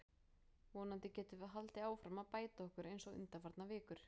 Vonandi getum við haldið áfram að bæta okkur eins og undanfarnar vikur.